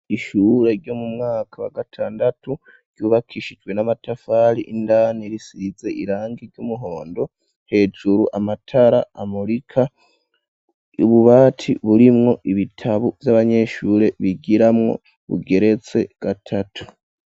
Ishure ryo mu mwaka wa gatandatu ryubakishijwe n'amatafari indani risize irangi ry'umuhondo hejuru amatara amurika, ububati burimwo ibitabu vy'abanyeshure bigiramwo bugeretse gatatu.